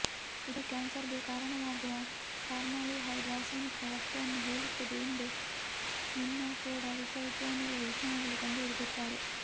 ಇದು ಕ್ಯಾನ್ಸರ್ಗೆ ಕಾರಣವಾಗುವ ಫಾರ್ಮಾಲ್ಡಿಹೈಡ್ ರಾಸಾಯನಿಕ ವಸ್ತುವನ್ನು ಹೋಲುತ್ತದೆ ಎಂದು ಮಿನ್ನೇಸೋಟಾ ವಿಶ್ವವಿದ್ಯಾಲಯದ ವಿಜ್ಞಾನಿಗಳು ಕಂಡುಹಿಡಿದಿದ್ದಾರೆ